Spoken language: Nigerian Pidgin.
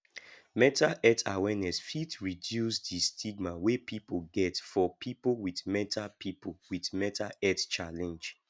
mental health awareness fit reduce di stigma wey pipo get for pipo with mental pipo with mental health challenge